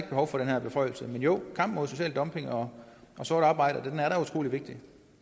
behov for den her beføjelse men jo kampen mod social dumping og sort arbejde er da utrolig vigtig